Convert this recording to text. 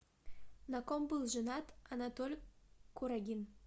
на ком был женат анатоль курагин